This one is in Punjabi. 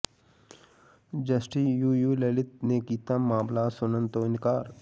ਜਸਟਿਸ ਯੂ ਯੂ ਲਲਿਤ ਨੇ ਕੀਤਾ ਮਾਮਲਾ ਸੁਣਨ ਤੋਂ ਇਨਕਾਰ